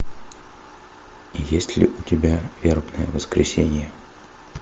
есть ли у тебя вербное воскресенье